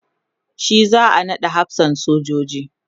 shi za'a naɗa hafsan sojoji